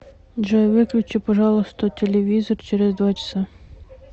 джой выключи пожалуйста телевизор через два часа